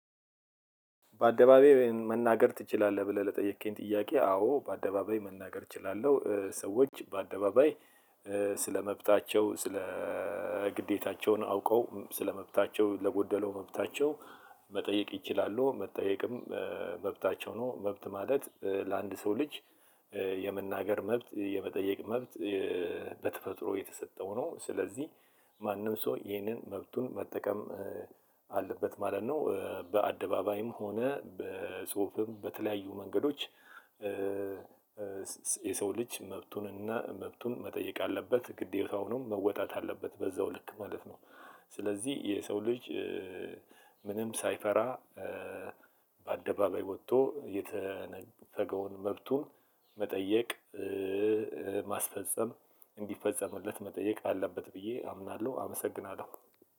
በአደባባይ መናገር ትችላለህ? ብለህ ለጠየከኝ ጥያቄ አዎ በአደባባይ መናገር እችላለሁ። ሰዎች በአደባባይ ስለመብታቸው ስለ ግዴታቸውን አውቀው ስለመብታቸው ለጎደለው መብታቸው መጠየቅ ይችላሉ። መጠየቅም መብታቸው ነው። መብት ማለት ለአንድ ሰው ልጅ የመናገር መብት የመጠየቅ መብት። በተፈጥሮ የተሰጠው ነው። ስለዚህ ማንም ሰው ይህንን መብቱን መጠቀም አለበት ማለት ነው። በአደባባይም ሆነ በጽሁፍም በተለያዩ መንገዶች። የሰውልጅ መብቱንና መብቱን መጠየቅ አለበት ግዴታው ነው መወጣት አለበት። በዛው ልክ ማለት ነው። ስለዚህ የሰው ልጅ ምንም ሳይፈራ በአደባባይ ወጥቶ የተነፈገውን መብቱን መጠየቅ ማስፈጸም እንዲፈጸምለት መጠየቅ አለበት ብዬ አምናለሁ። አመሰግናለሁ።